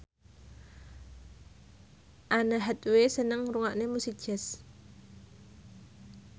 Anne Hathaway seneng ngrungokne musik jazz